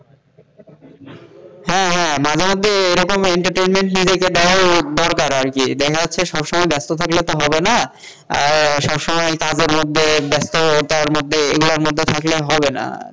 হ্যাঁ হ্যাঁ মাঝেমধ্যে এরকম entertainment নিজেকে দেওয়াও দরকার আরকি, দেখা যাচ্ছে সবসময় ব্যস্ত থাকলে তো হবে না আর সবসময় কাজের মধ্যে ব্যস্ততার মধ্যে এগুলার মধ্যে থাকলে হবেনা।